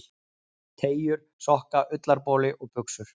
Teygjur, sokka, ullarboli og buxur.